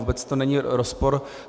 Vůbec to není rozpor.